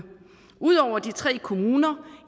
ud over de tre kommuner